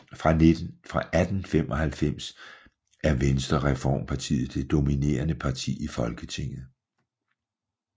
Fra 1895 er Venstrereformpartiet det dominerende parti i Folketinget